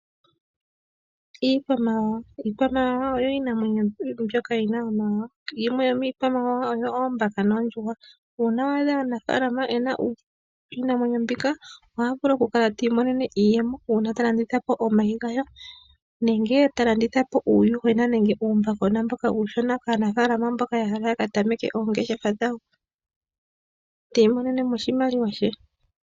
Iikwamawawa Iikwamawawa oyo iinamwenyo mbyoka yi na omawawa. Yimwe yomiikwamawawa oyo oombaka noondjuhwa. Uuna wa adha omunafaalama e na iinamwenyo mbika oha vulu okukala ti imonene mo iiyemo uuna ta landitha po omayi gayo, nenge ta landitha po uuyuhwena nenge uumbakona kaanafaalama mboka ya hala ya ka tameke oongeshefa dhawo, ti imonene mo oshimaliwa she.